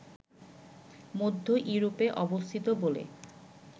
মধ্য ইউরোপে অবস্থিত বলে